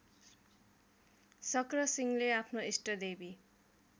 शक्रसिंहले आफ्नो इष्टदेवी